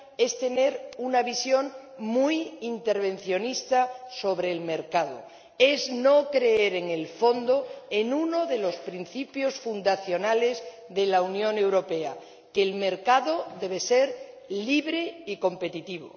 es tener una visión muy intervencionista sobre el mercado, es no creer, en el fondo, en uno de los principios fundacionales de la Unión Europea que el mercado debe ser libre y competitivo.